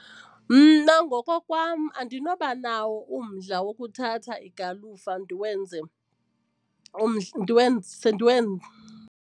Mna ngokokwam andinoba nawo umdla wokuthatha igalufa ndiwenze .